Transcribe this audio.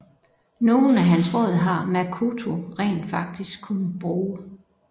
Nogen af hans råd har Makoto rent faktisk kunne bruge